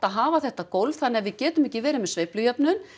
hafa þetta gólf þannig að við getum ekki verið með sveiflujöfnun